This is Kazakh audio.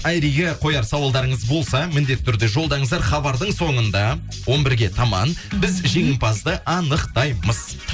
айриге қояр сауалдарыңыз болса міндетті түрде жолдаңыздар хабардың соңында он бірге таман біз жеңімпазды анықтаймыз